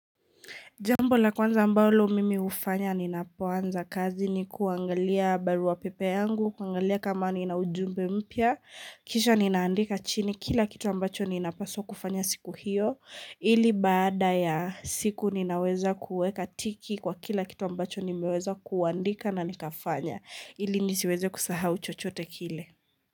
Jambo la kwanza ambalo mimi hufanya ninapuanza kazi ni kuangalia barua pepe yangu, kuangalia kama ninaujumbe mpya, kisha ninaandika chini, kila kitu ambacho ninapaswa kufanya siku hiyo, ili baada ya siku ninaweza kuweka tiki kwa kila kitu ambacho nimeweza kuandika na nikafanya, ili nisiweze kusahau chochote kile.